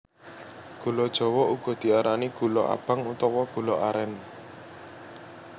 Gula jawa uga diarani gula abang utawa gula arén